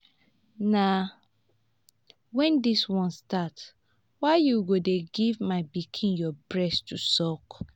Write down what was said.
na wen dis one start? why you go dey give my pikin your breast to suck?